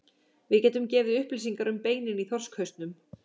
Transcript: Við getum gefið upplýsingar um beinin í þorskhausnum.